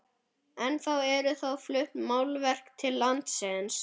Ennþá eru þó flutt málverk til landsins.